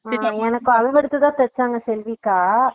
என்னக்கு அளவேடுத்துதா தேச்சாங்க செல்விக்கா